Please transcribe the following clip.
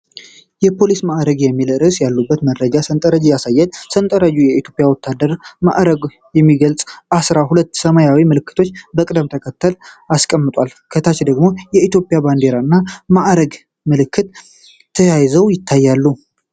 "የፖሊስ ማዕረጎች" የሚል ርዕስ ያለበት የመረጃ ሠንጠረዥ ያሳያል። ሠንጠረዡ የኢትዮጵያ ወታደራዊ ማዕረጎችን የሚገልጹ አሥራ ሁለት ሰማያዊ ምልክቶችን በቅደም ተከተል ያስቀምጣል። ከታች ደግሞ የኢትዮጵያ ባንዲራና የማዕረግ ምልክት ተያይዘው ይታያሉ